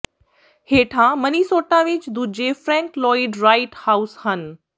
ਹੇਠਾਂ ਮਨੀਸੋਟਾ ਵਿਚ ਦੂਜੇ ਫ੍ਰੈਂਕ ਲੋਇਡ ਰਾਈਟ ਹਾਉਸ ਹਨ